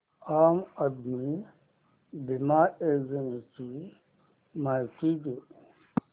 आम आदमी बिमा योजने ची माहिती दे